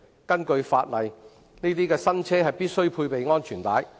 根據法例，該等新車必須配備安全帶。